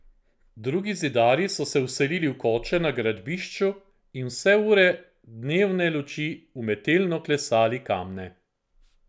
Drugi zidarji so se vselili v koče na gradbišču in vse ure dnevne luči umetelno klesali kamne.